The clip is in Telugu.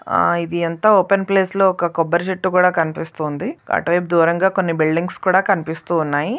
ఆ ఇది అంత ఓపెన్ ప్లేస్ లో ఒక కొబ్బరి చెట్టు కూడా కనిపిస్తుంది అటు వైపు దూరంగా కొన్ని బిల్డింగ్స్ కూడా కనిపిస్తూ ఉన్నాయి.